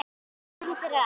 Þakka þér fyrir allt.